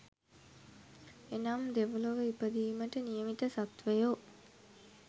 එනම් දෙව්ලොව ඉපදීමට නියමිත සත්ත්වයෝ